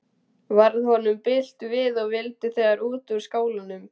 Varð honum bilt við og vildi þegar út úr skálanum.